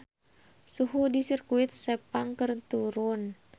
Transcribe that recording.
Suhu di Sirkuit Sepang keur turun